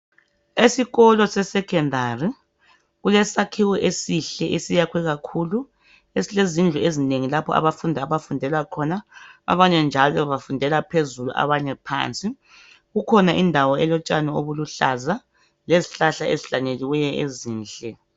Esikolo sesekhondari kulesakhiwo esihle esiyakhwe kakhulu esilezindlu ezinengi lapho abafundi abafundela khona abanye njalo bafundela phezulu abanye phansi kukhona indawo elotshani obuluhlaza lezihlahla ezihlanyelweyo ezinhle